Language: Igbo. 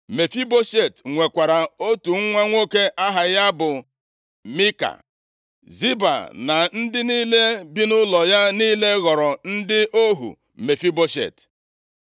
Mefiboshet nwekwara otu nwa nwoke aha ya bụ Mika. Ziba na ndị niile bi nʼụlọ ya niile ghọrọ ndị ohu Mefiboshet.